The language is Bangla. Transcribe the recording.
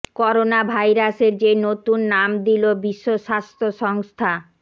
করোনা ভাইরাসের যে নতুন নাম দিল বিশ্ব স্বাস্থ্য সংস্থা